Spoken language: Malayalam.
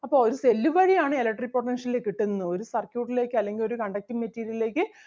അപ്പം ഒരു cell വഴി ആണ് electric potential കിട്ടുന്നത് ഒരു circuit ലേക്ക് അല്ലെങ്കിൽ ഒരു conducting material ലേക്ക്